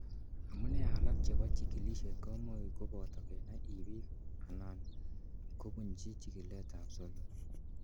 Amune alak chebo chikilisiet komuch koboto kenai ibik ana kobunji chikiletab solot.